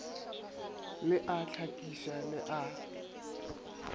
le a hlakiša le a